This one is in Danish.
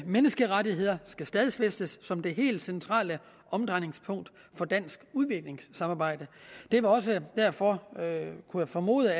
menneskerettigheder skal stadfæstes som det helt centrale omdrejningspunkt for dansk udviklingssamarbejde det er også derfor formoder